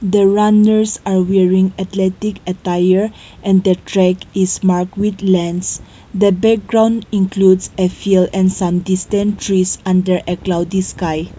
the runners are wearing athletic attire and the track is mark with lens the background includes a field and some distant trees under a cloudy sky.